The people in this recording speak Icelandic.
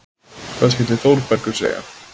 Hvað skyldi Þórbergur segja?